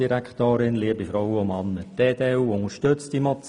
Die EDU unterstützt diese Motion.